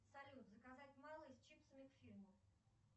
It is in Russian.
салют заказать малый с чипсами к фильму